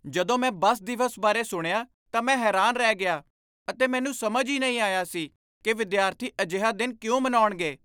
ਜਦੋਂ ਮੈਂ ਬੱਸ ਦਿਵਸ ਬਾਰੇ ਸੁਣਿਆ ਤਾਂ ਮੈਂ ਹੈਰਾਨ ਰਹਿ ਗਿਆ ਅਤੇ ਮੈਨੂੰ ਸਮਝ ਹੀ ਨਹੀਂ ਆਇਆ ਸੀ ਕਿ ਵਿਦਿਆਰਥੀ ਅਜਿਹਾ ਦਿਨ ਕਿਉਂ ਮਨਾਉਣਗੇ।